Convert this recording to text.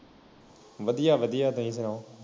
ਵਧੀਆ ਵਧੀਆ ਤੁਸੀ ਸੁਣਾਓ